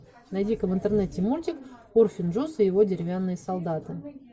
найди ка в интернете мультик урфин джюс и его деревянные солдаты